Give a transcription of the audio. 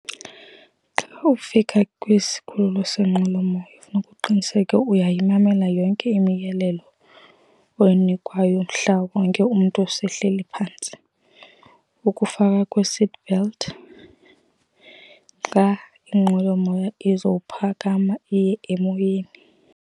Xa ufika kwisikhululo seenqwelomoya funeka uqiniseke uyayimamela yonke imiyalelo oyinikwayo. Mhla wonke umntu sehleli phantsi, ukufakwa kwe-seatbelt xa inqwelomoya izowuphakama iye emoyeni.